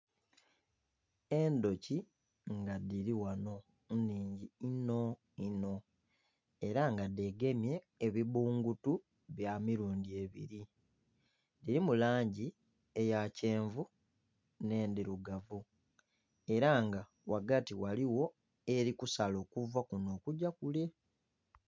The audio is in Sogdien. Endhuki nga dhiri ghano enhingi inho inho era nga dhegemye ebibbungutu byamirundhi ebiri dhirimu langi eya kyenvu n'endhirugavu era nga ghati ghaligho eri kusala okuva kuno okugya kule.